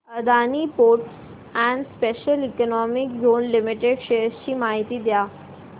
Adani ports and special economic zone limited shares ची माहिती द्या